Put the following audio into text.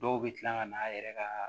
Dɔw bɛ tila ka na a yɛrɛ ka